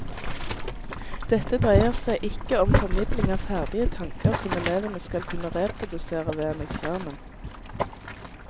Dette dreier seg ikke om formidling av ferdige tanker som elevene skal kunne reprodusere ved en eksamen.